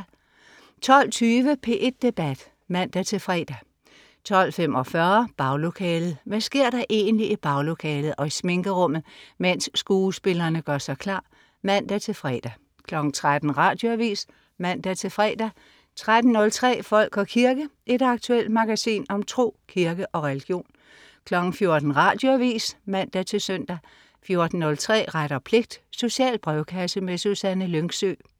12.20 P1 Debat (man-fre) 12.45 Baglokalet. Hvad sker der egentlig i baglokalet og i sminkerummet, mens skuespillerne gør sig klar? (man-fre) 13.00 Radioavis (man-fre) 13.03 Folk og kirke. Et aktuelt magasin om tro, kirke og religion 14.00 Radioavis (man-søn) 14.03 Ret og pligt. Social brevkasse. Susanne Lyngsø